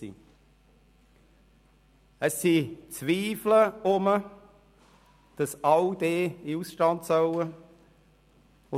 Es gibt Unsicherheiten betreffend die Frage, wer alles in den Ausstand treten soll.